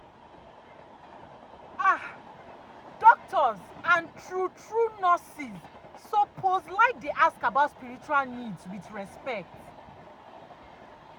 ah doctors and true true nurses suppose like dey ask about spiritual needs with respect.